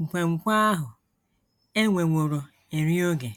nkwenkwe ahụ e nweworo eri oge.